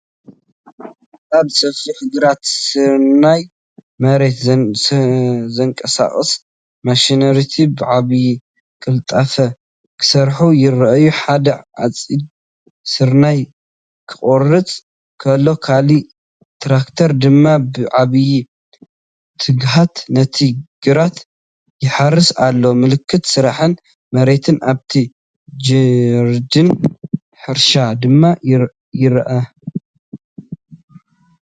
ኣብ ሰፊሕ ግራት ስርናይ፡ መሬት ዘንቀሳቕሱ ማሽነሪታት ብዓቢ ቅልጣፈ ክሰርሑ ይረኣዩ። ሓደ ዓጺድ ስርናይ ክቖርጽ ከሎ ካልእ ትራክተር ድማ ብዓቢ ትግሃት ነቲ ግራት ይሓርስ ኣሎ። ምልክት ስራሕን መሬትን ኣብቲ ጀርዲን/ሕርሻ ድማ ይርአ።